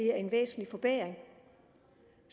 er en væsentlig forbedring